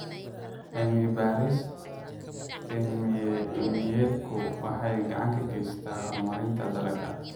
Cilmi-baaris cilmiyeedku waxay gacan ka geysataa horumarinta dalagga.